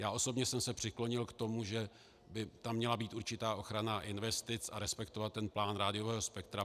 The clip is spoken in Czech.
Já osobně jsem se přiklonil k tomu, že by tam měla být určitá ochrana investic, a respektovat ten plán rádiového spektra.